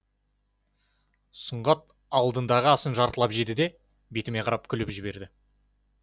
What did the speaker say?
сұңғат алдындағы асын жартылап жеді де бетіме қарап күліп жіберді